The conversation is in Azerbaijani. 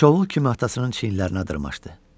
Şaul kimi atasının çiynələrinə dırmaşdı.